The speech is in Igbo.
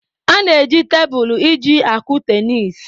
A na-eji tebụlụ iji akụ tenis.